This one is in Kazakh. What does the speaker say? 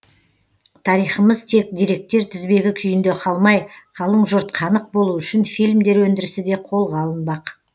тарихымыз тек деректер тізбегі күйінде қалмай қалың жұрт қанық болу үшін фильмдер өндірісі де қолға алынбақ